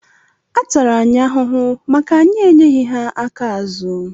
Atara anyị ahụhụ maka anyị enyeghi ha aka azụ.